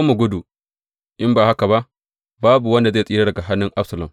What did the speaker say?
Mu gudu, in ba haka ba, babu wanda zai tsira daga hannun Absalom.